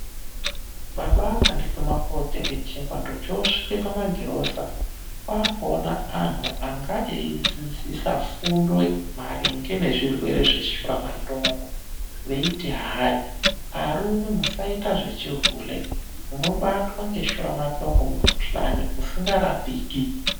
Baba akandituma kootenge chingwa, ndochosvike pamagirosa kwakuone antu anga eidzidzisa fundo maringe nezvirwere zveshuramatongo veiti hayi, arume musaite zvechihule munobatwa ndeshuramatongo mukuhlani usikarapiki.